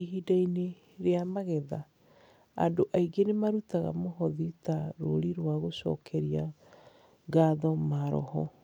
Ihinda-inĩ rĩa magetha, andũ aingĩ nĩ maruta mũhothi ta rũri rwa gũcokeria ngatho maroho.